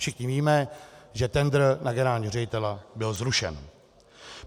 Všichni víme, že tendr na generálního ředitele byl zrušen.